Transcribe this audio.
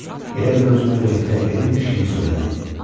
Elə bil özünə ürəkdirək verirmiş kimi söylədi.